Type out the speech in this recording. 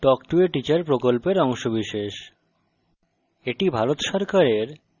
spoken tutorial talk to a teacher প্রকল্পের অংশবিশেষ